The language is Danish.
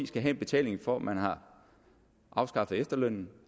skal have en betaling for at man har afskaffet efterlønnen